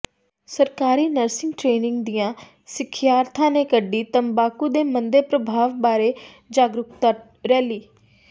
ਸਰਕਾਰੀ nursing training ਦੀਆਂ ਸਿਖਿਆਰਥਣਾਂ ਨੇ ਕੱਢੀ ਤੰਬਾਕੂ ਦੇ ਮੰਦੇ ਪ੍ਰਭਾਵਾਂ ਬਾਰੇ ਜਾਗਰੂਕਤਾ ਰੈਲੀ